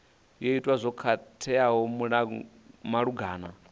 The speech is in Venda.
yo ita zwo khakheaho malugana